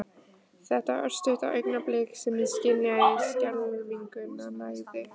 Þetta örstutta augnablik sem ég skynjaði skelfinguna nægði.